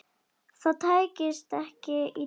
Það tækist ekki í dag.